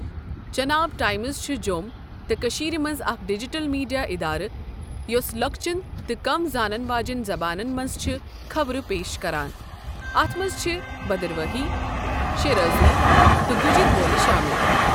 Chenab Times چھ جۆم تہٕ کٔشیٖر مَنٛز اَکھ ڈیجیٹل میڈیا اداره یوسہ لۄکچن تہ کم زانن واجنٮ۪ن زبانن منٛز چھُ خبرہ پیش کران اتھ منٛز چھ بدرواہی، شرٲزی تہ گُجرۍ بولۍ شٲمل۔